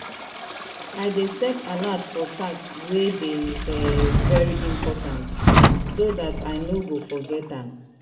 i dey set alert for task wey dey um very important so dat i no go forget am.